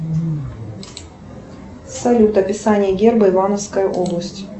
салют описание герба ивановской области